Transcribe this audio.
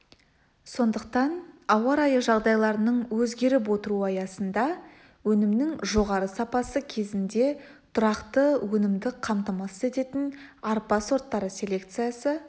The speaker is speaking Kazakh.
сондықтан ауа райы жағдайларының өзгеріп отыруы аясында өнімнің жоғарғы сапасы кезінде тұрақты өнімді қамтамасыз ететін арпа сорттары селекциясы